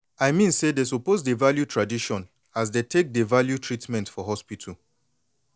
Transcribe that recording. i mean say dey suppose dey value tradition as dey take dey value treatment for hospital